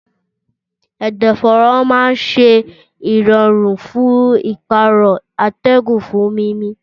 Ẹ̀dọ̀fóró máa ń ṣe ìrọ̀rùn fún ìpààrọ̀ atẹ́gùn fún mímí.